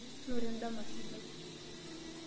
Noto endama sidai.